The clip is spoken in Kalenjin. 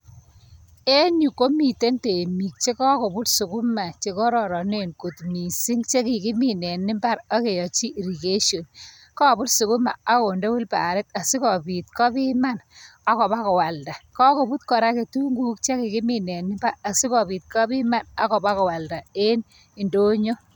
En yu komite temik che kakobut sukuma chekararanek kot missing che kikimin en imbar akeyachi irrigation kabut sukuma akonde wilbaret asikopit kopiman ako pa koalda kabut kora ketunguuk chekikimin en imbar asikopit kopiman akopa kolada en indonyo.